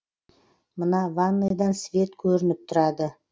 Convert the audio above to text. мына ванныйдан свет көрініп тұрады